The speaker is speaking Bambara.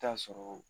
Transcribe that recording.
I bi taa sɔrɔ